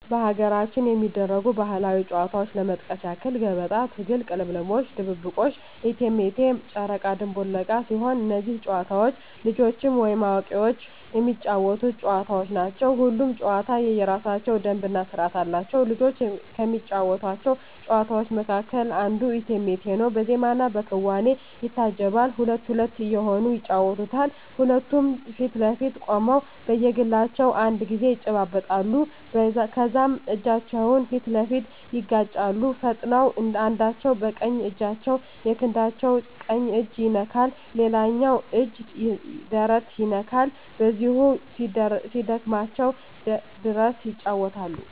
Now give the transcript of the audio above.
በሀገራችን ከሚደረጉ ባህላዊ ጨዋታዎች ለመጥቀስ ያክል ገበጣ፣ ትግል፣ ቅልምልሞሽ፣ ድብብቆሽ፣ እቴሜቴ፣ ጨረቃ ድንቡል ዕቃ ሲሆኑ እነዚህ ጨዋታዎች ልጆችም ወይም አዋቂዎች የሚጫወቱት ጨዋታዎች ናቸው። ሁሉም ጨዋታ የየራሳቸው ደንብ እና ስርዓት አላቸው። ልጆች ከሚጫወቷቸው ጨዋታዎች መካከል አንዱ እቴሜቴ ነው በዜማና በክዋኔ ይታጀባል ሁለት ሁለት እየሆኑ ይጫወቱታል ሁለቱም ፊት ለፊት ቆመው በየግላቸው አንድ ጊዜ ያጨበጭባሉ ከዛም እጃቸውን ፊት ለፊት ያጋጫሉ ፈጥነው አንዳቸው በቀኝ እጃቸው የክንዳቸው ቀኝ እጅ ይነካል ሌላኛው እጅ ደረት ይነካል በዚሁ እስኪደክማቸው ድረስ ይጫወታሉ።